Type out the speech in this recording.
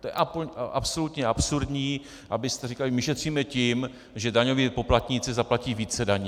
To je absolutně absurdní, abyste říkali: my šetříme tím, že daňoví poplatníci zaplatí více daní.